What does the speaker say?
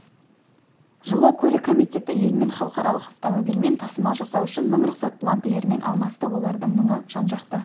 жылы көлік комитеті елмен халықаралық автоомбильмен тасымал жасау үшін мың рұқсат бланкілерімен алмасты олардың мыңы жан-жақты